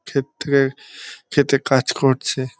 ক্ষেত থেকে ক্ষেতে কাজ করছে।